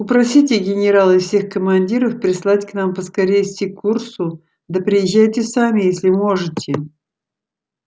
упросите генерала и всех командиров прислать к нам поскорее сикурсу да приезжайте сами если можете